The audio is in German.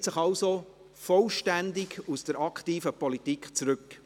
Er zieht sich also vollständig aus der aktiven Politik zurück.